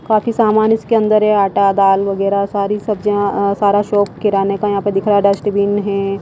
काफी सामाने इसके अंदर है आटा दाल वगैरा सारी सब्जियां अं सारा शॉप किराने का यहां पे दिख रहा डस्टबीन है।